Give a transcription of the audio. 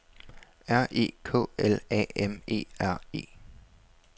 R E K L A M E R E